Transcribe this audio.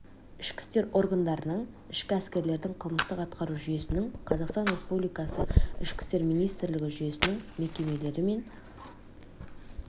ішкі істер органдарының ішкі әскерлердің қылмыстық атқару жүйесінің қазақстан республикасы ішкі істер министрлігі жүйесінің мекемелрі мен